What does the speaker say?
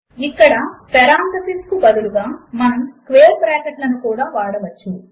ఇక్కడ పెరాన్థసిస్ కు బదులుగా మనము స్క్వేర్ బ్రాకెట్ లను కూడా వాడవచ్చు